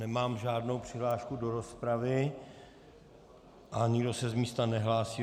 Nemám žádnou přihlášku do rozpravy a nikdo se z místa nehlásí.